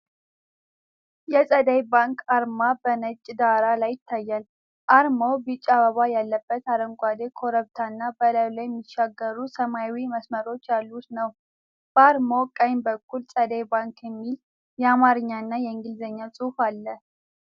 የጸደይ ባንክ አርማ በነጭ ዳራ ላይ ይታያል። አርማው ቢጫ አበባ ያለበት አረንጓዴ ኮረብታና በላዩ ላይ የሚሻገሩ ሰማያዊ መስመሮች ያሉት ነው። በአርማው ቀኝ በኩል "ጸደይ ባንክ" የሚል የአማርኛና የእንግሊዝኛ ጽሑፍ አለ።